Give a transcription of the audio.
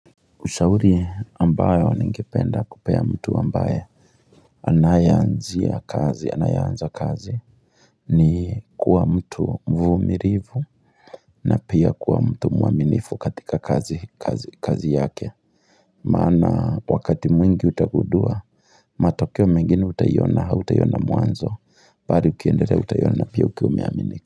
Ushauri ambayo ningependa kupea mtu ambaye Anayeanzia kazi anayeanza kazi ni kuwa mtu mvumilivu na pia kuwa mtu mwaminifu katika kazi yake Maana wakati mwingi utagundua matokeo mengine utaiona hautaiona mwanzo Bali ukiendelea utaiona pia ukiwa umeaminika.